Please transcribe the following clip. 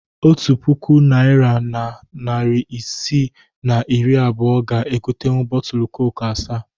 Otu puku naịra na narị isii na iri abụọ ga egotenwu bọọtulu koku asaa